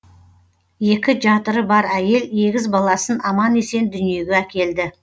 екі жатыры бар әйел егіз баласын аман есен дүниеге әкелді